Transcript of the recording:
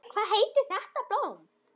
Hvað heitir þetta blóm?